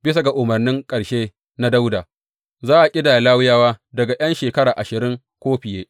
Bisa ga umarnin ƙarshe na Dawuda, za a ƙidaya Lawiyawa daga ’yan shekara ashirin ko fiye.